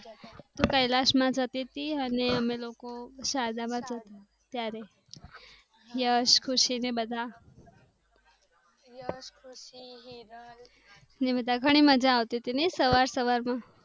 તો કલાસ માં જતી તી અને અમે લોકો શારદામાં હતા ત્યારે યશ ખુશી ને બધા ની બધા ઘણી મજા આવતી તી ને સવાર સવાર માં